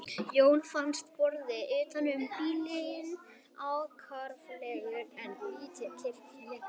Jóhanni fannst borðinn utan um bílinn afkáralegur en lét kyrrt liggja.